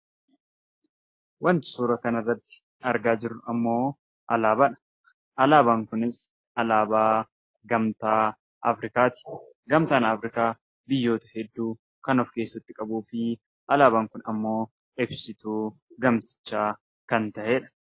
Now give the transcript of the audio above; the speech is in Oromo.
Wanti suura kanarratti argaa jirru immoo alaabaadha. Alaabaan kunis alaabaa gamtaa Afriikaati. Gamtaan Afriikaa biyyoota hedduu kan of keessatti qabuufi alaabaan kun immoo ibsituu gamtichaa kan ta’edha.